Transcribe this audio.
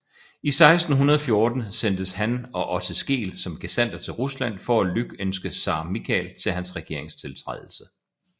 I 1614 sendtes han og Otte Skeel som gesandter til Rusland for at lykønske Zar Michael til hans regeringstiltrædelse